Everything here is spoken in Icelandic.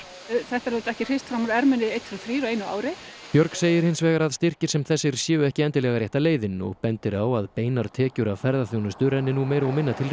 þetta er auðvitað ekki hrist fram úr erminni einn tveir og þrír á einu ári björg segir hins vegar að styrkir sem þessir séu ekki endilega rétta leiðin og bendir á að beinar tekjur af ferðaþjónustu renni nú meira og minna til